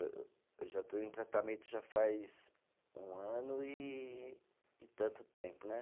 Eu, eu já estou em tratamento já faz um ano e e tanto tempo, né?